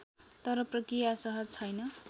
तर प्रक्रिया सहज छैन